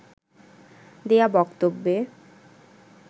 দেয়া বক্তব্যে